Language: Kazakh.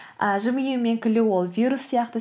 ы жымию мен күлу ол вирус сияқты